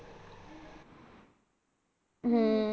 ਹੂੰ।